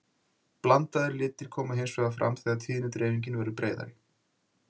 blandaðir litir koma hins vegar fram þegar tíðnidreifingin verður breiðari